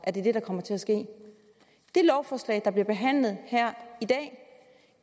at det er det der kommer til at ske det lovforslag der bliver behandlet her i dag